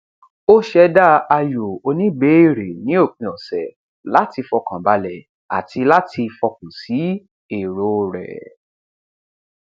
ó sẹdá ayò oníbèérè ní òpin ọsẹ láti fọkàn balẹ àti láti fọkàn sí èrò rẹ